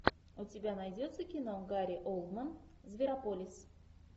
у тебя найдется кино гари олдман зверополис